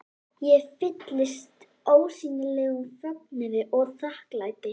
Ég fylltist ólýsanlegum fögnuði og þakklæti.